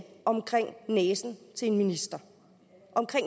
omkring næsen til en minister